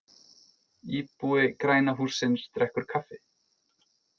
Íbúi græna hússins drekkur kaffi.